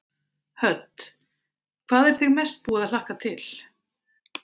Hödd: Hvað er þig mest búið að hlakka til?